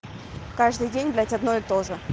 каждый день блядь одно и тоже